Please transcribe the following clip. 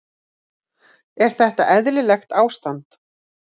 Er þetta eðlilegt ástand?